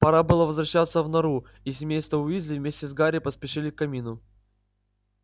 пора было возвращаться в нору и семейство уизли вместе с гарри поспешили к камину